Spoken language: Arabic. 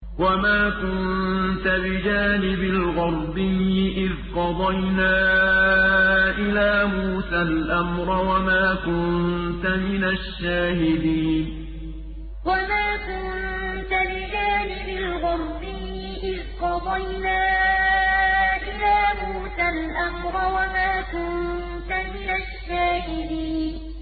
وَمَا كُنتَ بِجَانِبِ الْغَرْبِيِّ إِذْ قَضَيْنَا إِلَىٰ مُوسَى الْأَمْرَ وَمَا كُنتَ مِنَ الشَّاهِدِينَ وَمَا كُنتَ بِجَانِبِ الْغَرْبِيِّ إِذْ قَضَيْنَا إِلَىٰ مُوسَى الْأَمْرَ وَمَا كُنتَ مِنَ الشَّاهِدِينَ